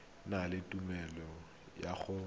na le tumelelo ya go